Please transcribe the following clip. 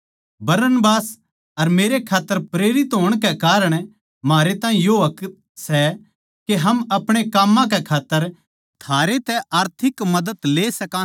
बरनबास अर मेरे खात्तर प्रेरित होण कै कारण म्हारे ताहीं यो हक सै के हम आपणे काम कै खात्तर थारे तै आर्थिक मदद ले सका सां